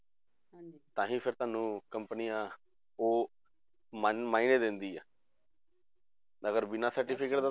ਤਾਂ ਫਿਰ ਤੁਹਾਨੂੰ companies ਉਹ ਮਨ ਮਾਇਨੇ ਦਿੰਦੀ ਹੈ ਮਗਰ ਬਿਨਾਂ certificate ਤੋਂ